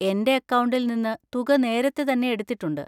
എന്‍റെ അക്കൌണ്ടിൽ നിന്ന് തുക നേരത്തെ തന്നെ എടുത്തിട്ടുണ്ട്.